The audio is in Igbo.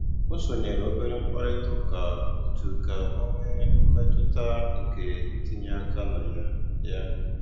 Ó sónyéré óbérè mkpàrị́tà ụ́ká ótù kà ọ́ nwée mmétụ́tà nkè ítínyé áká nà yá. yá.